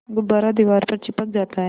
गुब्बारा दीवार पर चिपक जाता है